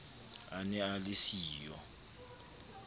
a ne a le siyo